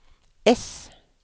ess